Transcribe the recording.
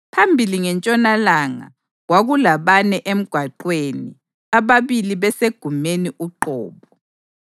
Phambili ngentshonalanga, kwakulabane emgwaqweni, ababili besegumeni uqobo.